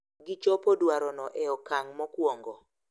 Gichopo dwarono e okang’ mokwongo,